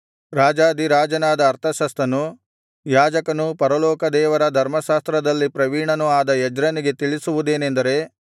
ರಾಜಾಧಿರಾಜನಾದ ಅರ್ತಷಸ್ತನು ಯಾಜಕನೂ ಪರಲೋಕದೇವರ ಧರ್ಮಶಾಸ್ತ್ರದಲ್ಲಿ ಪ್ರವೀಣನೂ ಆದ ಎಜ್ರನಿಗೆ ತಿಳಿಸುವುದೇನೆಂದರೆ